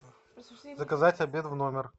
заказать обед в номер